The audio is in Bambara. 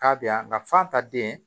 K'a bɛ yan nka fan ta den